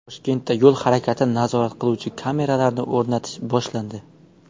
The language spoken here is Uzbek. Toshkentda yo‘l harakatini nazorat qiluvchi kameralarni o‘rnatish boshlandi.